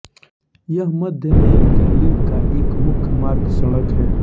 यह मध्य नई दिल्ली का एक मुख्य मार्ग सड़क है